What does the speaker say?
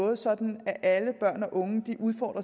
er sådan